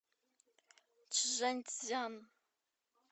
чжаньцзян